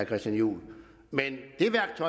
christian juhl men